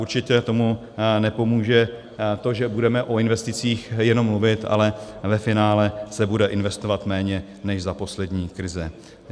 Určitě tomu nepomůže to, že budeme o investicích jenom mluvit, ale ve finále se bude investovat méně než za poslední krize.